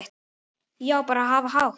Já, bara hafa hátt.